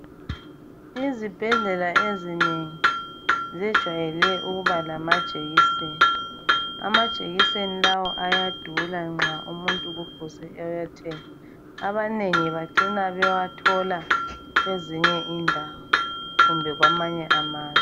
Izibhedlela ezinengi zejwayele ukuba lamajekiseni. Amajekiseni lawa ayadula nxa umuntu kufuze ewathenge. Abanengi bacina bewathola kwezinye indawo kumbe kwamanye amazwe.